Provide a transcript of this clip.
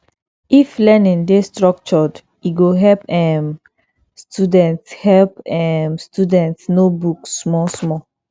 if learning dey structured e go help um students help um students know book small small